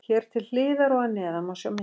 Hér til hliðar og að neðan má sjá myndir.